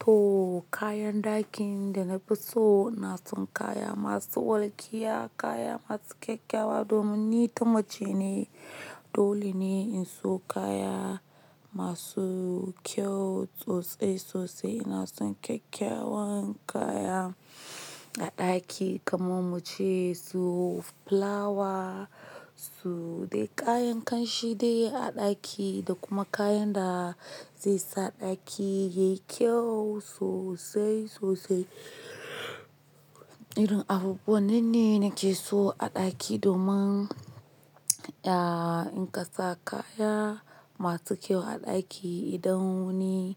To, kayan dakin da na fi so na son kaya masu walkiya, kaya masu kyakkyawa domin ni ta mace ne. Dole ne in so kaya masu kyau so sai sosai. Na son kyakkyawan kaya a ɗaki kamar muce su flawa, su, dai kayan ƙanshide a ɗaki da kuma kayan da zai sa ɗaki yayi kyau sosai sosai. Irin abubuwan ne nake so a ɗaki domin, ya, in ka sa kaya masu kyau a ɗaki idan wani,